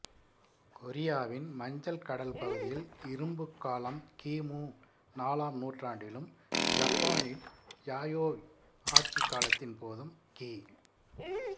கொரியாவின் மஞ்சள் கடல் பகுதியில் இரும்புக்காலம் கி மு நாலாம் நூற்றாண்டிலும் ஜப்பானில் யாயோய் ஆட்சிக்காலத்தின் போதும் கி